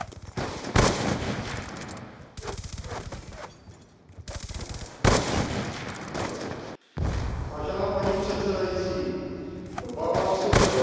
Paní předsedající, obávám se, že velmi mnoho nadšenců pro integrovanou EU bez národů a hranic hrozí touhou pomstít se za brexit.